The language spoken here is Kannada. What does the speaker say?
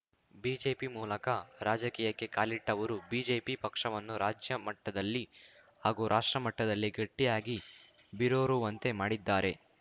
ಬಿಜೆಪಿ ಮೂಲಕ ರಾಜಕೀಯಕ್ಕೆ ಕಾಲಿಟ್ಟಅವರು ಬಿಜೆಪಿ ಪಕ್ಷವನ್ನು ರಾಜ್ಯ ಮಟ್ಟದಲ್ಲಿ ಹಾಗೂ ರಾಷ್ಟ್ರ ಮಟ್ಟದಲ್ಲಿ ಗಟ್ಟಿಯಾಗಿ ಬೀರೂರುವಂತೆ ಮಾಡಿದ್ದಾರೆ